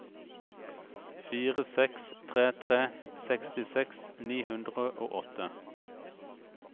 fire seks tre tre sekstiseks ni hundre og åtte